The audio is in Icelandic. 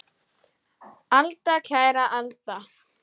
Alda, kæra alda!